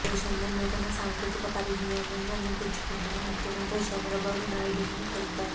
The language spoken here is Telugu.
దేశంలో నూతన సాంకేతిక పరిజ్ఞానాన్ని అందిపుచ్చుకుంటున్న ముఖ్యమంత్రి చంద్రబాబు నాయుడని తెలిపారు